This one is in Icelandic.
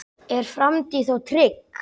Er framtíð þá trygg?